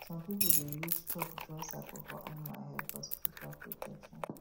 some people dey use chalk draw circle for animals head for spiritual protection